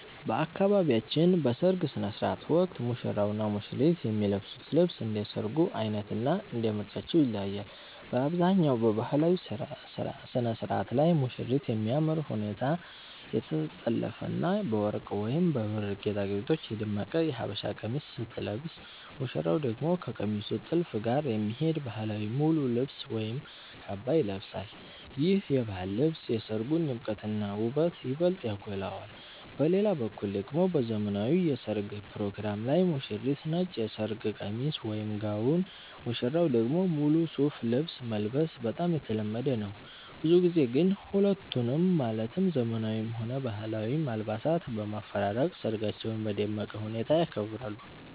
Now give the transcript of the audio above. በአካባቢያችን በሰርግ ሥነ ሥርዓት ወቅት ሙሽራውና ሙሽሪት የሚለብሱት ልብስ እንደ ሰርጉ ዓይነትና እንደ ምርጫቸው ይለያያል። በአብዛኛው በባህላዊው ሥነ ሥርዓት ላይ ሙሽሪት በሚያምር ሁኔታ የተጠለፈና በወርቅ ወይም በብር ጌጣጌጦች የደመቀ የሀበሻ ቀሚስ ስትለብስ፣ ሙሽራው ደግሞ ከቀሚሱ ጥልፍ ጋር የሚሄድ ባህላዊ ሙሉ ልብስ ወይም ካባ ይለብሳል። ይህ የባህል ልብስ የሰርጉን ድምቀትና ውበት ይበልጥ ያጎላዋል። በሌላ በኩል ደግሞ በዘመናዊው የሠርግ ፕሮግራም ላይ ሙሽሪት ነጭ የሰርግ ቀሚስ (ጋውን)፣ ሙሽራው ደግሞ ሙሉ ሱፍ ልብስ መልበስ በጣም የተለመደ ነው። ብዙ ጊዜ ግን ሁለቱንም ማለትም ዘመናዊውንም ሆነ ባህላዊውን አልባሳት በማፈራረቅ ሰርጋቸውን በደመቀ ሁኔታ ያከብራሉ።